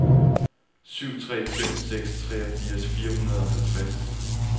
syv tre fem seks treogfirs fire hundrede og halvtreds